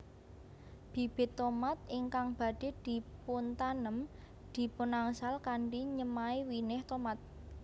Bibit tomat ingkang badhé dipuntanem dipunangsal kanthi nyemai winih tomat